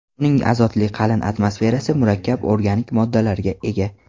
Uning azotli qalin atmosferasi murakkab organik moddalarga ega.